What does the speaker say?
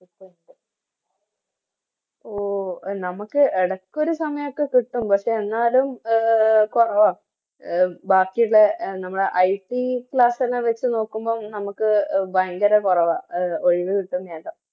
നമക്ക് ഇടക്കൊരു സമായൊക്കെ കിട്ടും പക്ഷെ എന്നാലും കൊറവ ബാക്കിയുള്ളെ എ നമ്മളെ ITClass ഒക്കെ വെച്ച് നോക്കുമ്പോ നമക്ക് ഭയങ്കര കൊറവ അഹ്